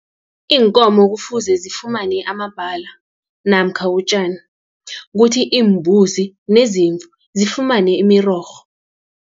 Iinkomo kufuze zifumane amabhala namkha utjani, kuthi iimbuzi nezimvu zifumane imirorho.